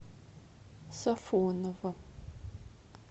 сафоново